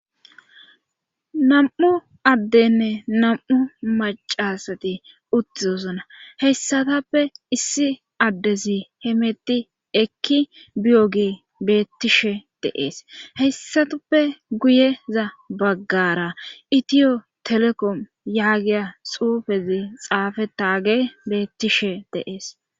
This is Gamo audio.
Nam7u addenne nam7u macasati uttizosona hessatappe issi addezi hemetti ekki biyogee beettishe deees heyssatappe guyeza baggara itiyo telekom yaagiya xuufezi xaafetaage beettishe deees.